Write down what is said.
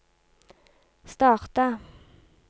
starta